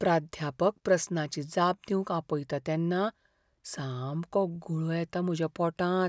प्राध्यापक प्रस्नाची जाप दिवंक आपयता तेन्ना सामको गुळो येता म्हज्या पोटांत.